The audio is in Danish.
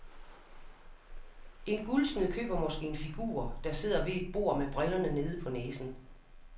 En guldsmed køber måske en figur, der sidder ved et bord med brillerne nede på næsen.